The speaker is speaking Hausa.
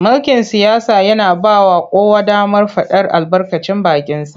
Mulkin siyasa yana ba wa kowa damar faɗar albarkacin bakinsa.